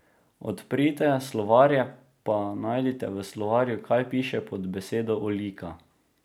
Odprite slovarje pa najdite v slovarju, kaj piše pod besedo olika.